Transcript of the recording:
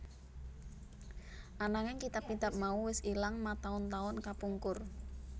Ananging kitab kitab mau wis ilang mataun taun kapungkur